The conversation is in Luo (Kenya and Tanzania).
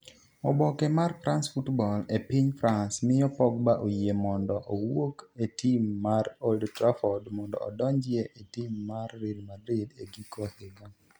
Oboke mar 'France Football' e piny France miyo Pogba oyie mondo owuok e tim mar Old Trafford mondo odonji e tim mar Real Madrid e giko higa.